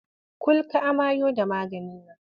Kul ka amayo da maganin nan!